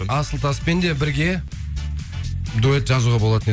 асылтаспен де бірге дуэт жазуға болатын еді